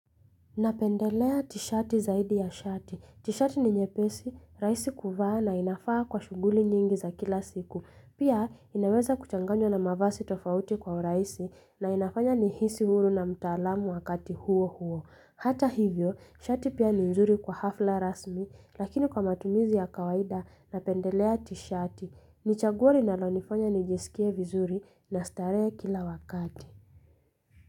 Napendelea t-shati zaidi ya shati. T-shati ni nyepesi, raisi kuvaa na inafaa kwa shuguli nyingi za kila siku. Pia inaweza kuchanganywa na mavazi tofauti kwa uraisi na inafanya nihisi huru na mtaalamu wakati huo huo. Hata hivyo, shati pia ni nzuri kwa hafla rasmi lakini kwa matumizi ya kawaida napendelea t-shati. Nichaguo linalo nifanya nijesikie vizuri na starehe kila wakati.